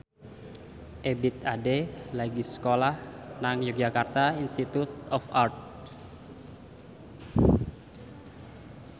Ebith Ade lagi sekolah nang Yogyakarta Institute of Art